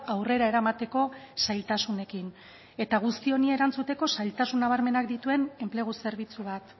aurrera eramateko zailtasunekin eta guzti honi erantzuteko zailtasun nabarmenak dituen enplegu zerbitzu bat